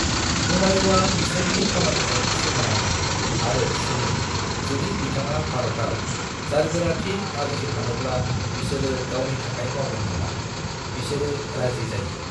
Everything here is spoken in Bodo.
हुमायूँआ बिसोरनि खामानिजों सोमोनाङो आरो सोङो जुदि बिथाङा भारताव जारगोराथि आरजिफानोब्ला बिसोरो गावनि थाखाय मावगोन नामा: बिसोरो राजि जायो।